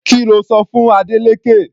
Kí lo sọ fún Adeleke?